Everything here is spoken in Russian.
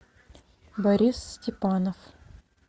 борис степанов